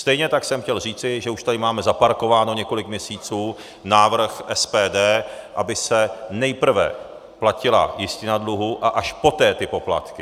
Stejně tak jsem chtěl říci, že už tady máme zaparkován několik měsíců návrh SPD, aby se nejprve platila jistina dluhu a až poté ty poplatky.